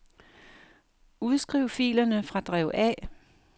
Udskriv filerne fra drev A.